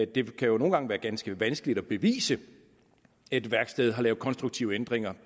det kan nogle gange være ganske vanskeligt at bevise at et værksted bevidst har lavet konstruktive ændringer